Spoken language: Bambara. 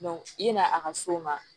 i n'a a ka s'o ma